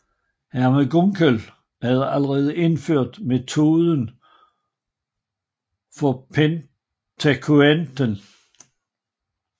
Hermann Gunkel havde allerede indført metoden for pentateuken